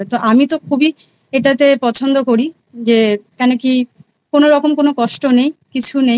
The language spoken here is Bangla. তো আমি তো খুবই এটাতে পছন্দ করি যে কেনো কি কোনো কোনো রকম কোনো কষ্ট নেই কিছু নেই